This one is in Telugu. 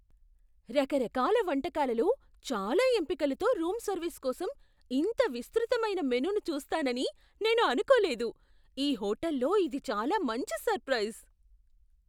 రకరకాల వంటకాలలో చాలా ఎంపికలతో రూం సర్వీస్ కోసం ఇంత విస్తృతమైన మెనూను చూస్తానని నేను అనుకోలేదు. ఈ హోటల్లో ఇది చాలా మంచి సర్ప్రైస్!